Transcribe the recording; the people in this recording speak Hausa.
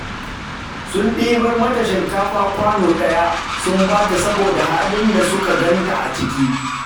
Sun ɗibar mata shinkafa kwano ɗaya, sun ba ta saboda halin da suka ganta a ciki